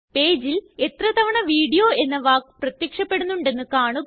പേജില് എത്ര തവണ വീഡിയോ എന്ന വാക്ക് പ്രത്യക്ഷപ്പെടുന്നുണ്ടെന്ന് കാണുക